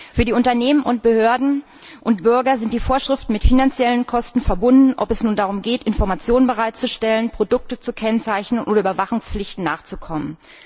Für die Unternehmen, Behörden und Bürger sind die Vorschriften mit finanziellen Kosten verbunden, ob es nun darum geht, Informationen bereitzustellen, Produkte zu kennzeichnen oder Überwachungspflichten nachzukommen.